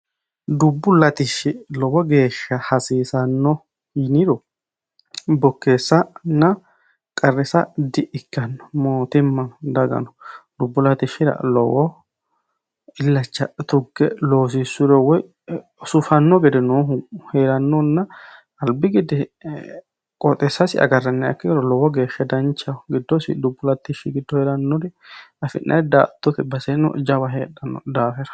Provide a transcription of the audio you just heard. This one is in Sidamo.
Dubbu latishshi lowo geeshsha hasiisano yiniro bokkeessanna qarrisa di'ikkino mootummano dagano dubbu latishshira lowo illacha tuge loosisuro woyi suffano gedeno noohu heeranonna albi gede qooxxeesasi agarraniha ikkiro lowo geeshsha danchaho giddosi dubbu latishsha giddo heeranori affi'nanniri daa"attote baseno jawa heedhano daafira.